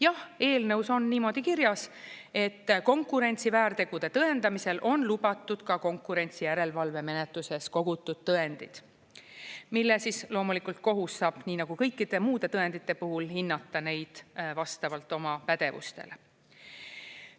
Jah, eelnõus on niimoodi kirjas, et konkurentsiväärtegude tõendamisel on lubatud ka konkurentsijärelevalvemenetluses kogutud tõendid, mille siis loomulikult kohus saab, nii nagu kõikide muude tõendite puhul, hinnata neid vastavalt oma pädevustele.